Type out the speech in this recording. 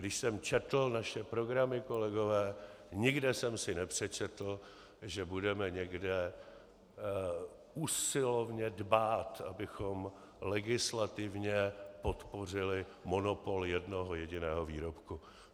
Když jsem četl naše programy, kolegové, nikde jsem si nepřečetl, že budeme někde usilovně dbát, abychom legislativně podpořili monopol jednoho jediného výrobku.